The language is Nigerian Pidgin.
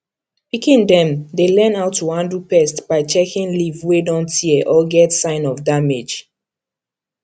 pikin dem dey learn how to handle pests by checking leaf wey don tear or get sign of damage